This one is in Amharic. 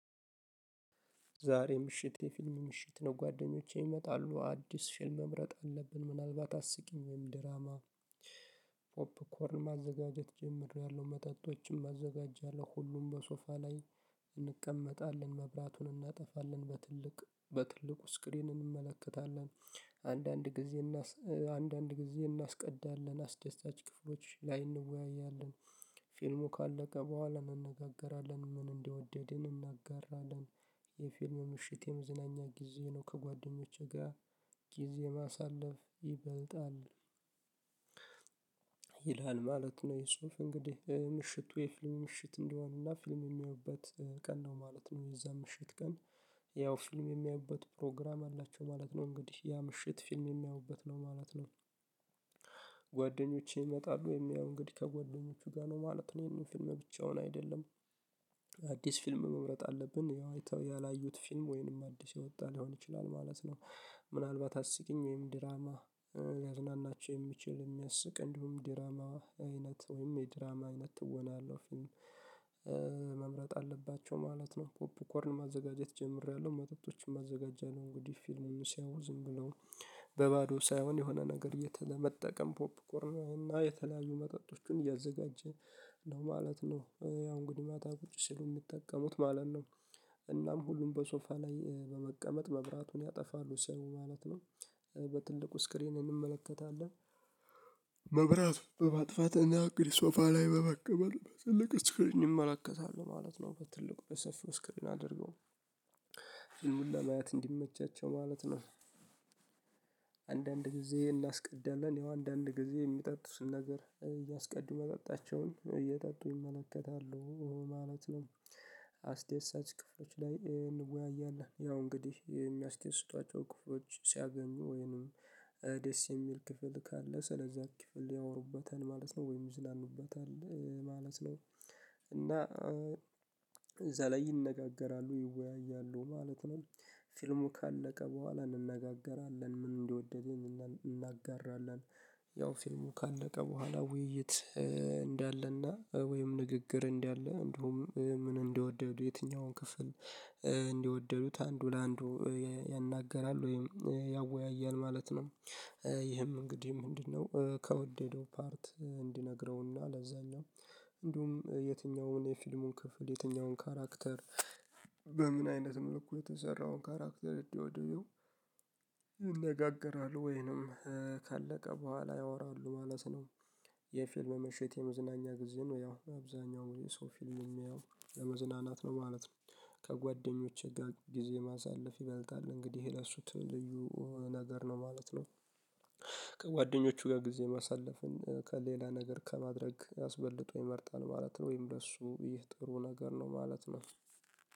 ዛሬ ምሽት የፊልም ምሽት ነው ጓደኞቼ ይመጣሉ አዲስ ፊልም መምረጥ አለብን። ምናልባት አስቂኝ ወይም ድራማ ፖፕኮርን ማዘጋጀት ጀምሬለሁ መጠጦችም አዘጋጃለሁ። ሁሉም በሶፋ ላይ እንቀመጣለን መብራቱን እናጠፋለን በትልቅ በትልቁ ስክሪን እንመለከታለን። አንዳንድ ጊዜ አንዳንድ ጊዜ እናስቀዳለን አስደሳች ክፍሎች ላይ እንወያያለን። ፊልሙ ካለቀ በኋላ እናነጋገራለን ምን እንደወደድን እናጋራለን። የፊልም ምሽት የመዝናኛ ጊዜ ነው ከጓደኞቼ ጋር ጊዜ ማሳለፍ ይበልጣል። ይላል ማለት ነው። ይሄ ጽሁፍ እንግዲህ ምሽቱ የፊልም ምሽት እንደሆነና ፊልም የሚያዩበት ቀን ነው ማለት ነው። የዛ ምሽት ቀን ያው ፊልም የሚያዩበት ፕሮግራም አላቸው ማለት ነው። እንግዲህ ያ ምሽት ፊልም የሚያዩበት ነው ማለት ነው። ጓደኞቼ ይመጣሉ የሚያዩ እንግዲህ ከጎደኞቹ ጋር ነው ማለት ነው። ይሄንን ፊልም ብቻውን አይደለም። አዲስ ፊልም መምረጥ አለብን ያው አይተው ያላዩት ፊልም ወይንም አዲስ የወጣ ሊሆን ይችላል ማለት ነው። ምናልባት አስቂኝ ወይም ድራማ ሊያዝናናቸው የሚችል የሚያስቅ እንዲሁም ዲራማ አይነት ወይም የዲራማ አይነት ትወና ያለው ፊልም አለባቸው ማለት ነው። ፖፕ ኮርን ማዘጋጀት ጀምሬያለሁ መጠጦችን አዘጋጃለሁ እንግዲህ ፊልም ሲያዩ ዝም ብለው በባዶ ሳይሆን የሆነ ነገር የተ ለመጠቀም ፖፕኮርናዊና የተለያዩ መጠጦችን እያዘጋጀ ነው ማለት ነው። ያው እንግዲህ ማታ ቁጭ ሲሉ የሚጠቀሙት ማለት ነው። እናም ሁሉም በሶፋ ላይ በመቀመጥ መብራቱን ያጠፋሉ ሰው ማለት ነው። በትልቁ ስክሪን እንመለከታለን። መብራት በማጥፋት እና እንግዲህ ሶፋ ላይ በመቀመጥ በትልቅ እስክርን ይመለከታሉ ማለት ነው። በትልቁ በሰፊው ስክሪን አድርገው ፊልሙን ለማየት እንዲመቻቸው ማለት ነው። አንዳንድ ጊዜ እናስቀዳለን ያው አንዳንድ ጊዜ የሚጠጡትን ነገር እያስቀዱ መጠጣቸውን እየጠጡ ይመለከታሉ ማለት ነው። አስደሳች ክፍሎች ላይ እንወያያለን ያው እንግዲህ የሚያስደስቷቸው ክፍሎች ሲያገኙ ወይንም ደስ የሚል ክፍል ካለ ስለዚያ ክፍል ያወሩበታል ማለት ነው። ወይም ይዝናኑበታል ማለት ነው። እና እዛ ላይ ይነጋገራሉ ይወያያሉ ማለት ነው። ፊልሙ ካለቀ በኋላ እንነጋገራለን ምን እንደወደደን እናጋራለን። ያው ፊልሙ ካለቀ በኋላ ውይይት እንዳለና ወይም ንግግር እንዳለ እንደውም ምን እንደወደዱ የትኛውን ክፍል እንደወደዱት አንዱ ለአንዱ ያናግራል ወይም ያወያያል ማለት ነው። ይህም እንግዲህ ምንድነው? ከወደደው ፓርት እንዲነግረውና ለዛኛው እንዲሁም የትኛውን የፊልሙን ክፍል የትኛውን ካራክተር በምን አይነት መልኩ የተሰራውን ካራክተር እንደወደዱ ይነጋገራሉ ወይንም ካለቀ በኋላ ያወራሉ ማለት ነው። የፊልም ምሽት የመዝናኛ ጊዜ ነው ያው አብዛኛው የሰው ፊልም የሚያየው ለመዝናናት ነው ማለት ነው። ከጓደኞቼ ጋር ጊዜ ማሳለፍ ይበልጣል እንግዲህ ይሄ ለሱ ልዩ ነገር ነው ማለት ነው። ከጓደኞቹ ጋር ጊዜ ማሳለፍን ከሌላ ነገር ከማድረግ አስበልጠው ይመርጣል ማለት ነው። ወይም ለእሱ ይህ ጥሩ ነገር ነው ማለት ነው።